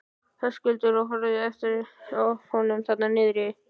Höskuldur: Og horfðuð þið eitthvað á eftir honum þarna niður?